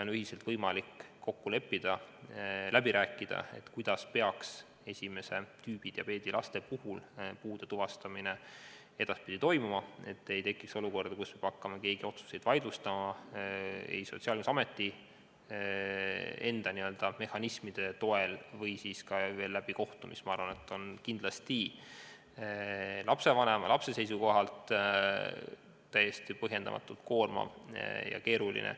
Ühiselt on võimalik kokku leppida ja läbi rääkida, kuidas peaks esimest tüüpi diabeeti põdevate laste puhul puude tuvastamine edaspidi toimuma, et ei tekiks olukorda, kus keegi peab hakkama otsuseid vaidlustama Sotsiaalkindlustusameti enda mehhanismide toel või siis kohtu kaudu, mis minu arvates on lapsevanema ja lapse seisukohalt kindlasti täiesti põhjendamatult koormav ja keeruline.